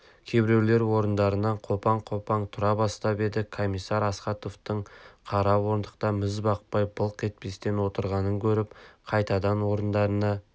кейбіреулер орындарынан қопаң-қопаң тұра бастап еді комиссар астаховтың қара орындықта міз бақпай былқ етпестен отырғанын көріп қайтадан орындарына